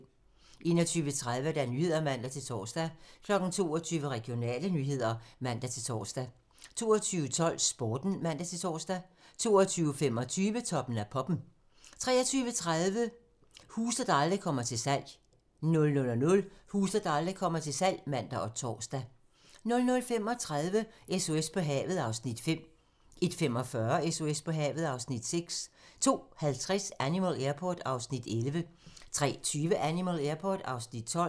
21:30: Nyhederne (man-tor) 22:00: Regionale nyheder (man-tor) 22:12: Sporten (man-tor) 22:25: Toppen af poppen (man) 23:30: Huse, der aldrig kommer til salg 00:00: Huse, der aldrig kommer til salg (man og tor) 00:35: SOS på havet (Afs. 5) 01:45: SOS på havet (Afs. 6) 02:50: Animal Airport (Afs. 11) 03:20: Animal Airport (Afs. 12)